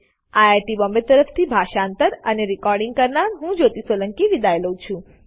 IIT Bombay તરફથી હું જ્યોતી સોલંકી વિદાય લઉં છું